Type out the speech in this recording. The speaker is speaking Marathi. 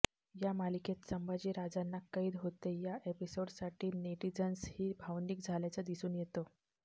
या मालिकेत संभाजी राजांना कैद होते या एपिसोडसाठी नेटिझन्सही भावनिक झाल्याचं दिसून येतं